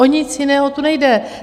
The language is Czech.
O nic jiného tu nejde.